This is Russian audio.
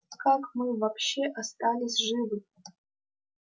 как мы вообще остались живы